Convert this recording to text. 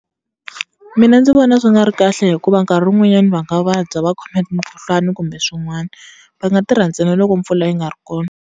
Mina ndzi vona swi nga ri kahle hikuva nkarhi wun'wanyana va nga vabya va khomeki hi mukhuhlwani kumbe swin'wana va nga tirha ntsena loko mpfula yi nga ri kona.